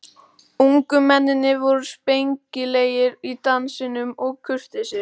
Ungu mennirnir voru spengilegir í dansinum og kurteisir.